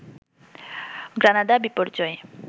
গ্রানাদা-বিপর্যয়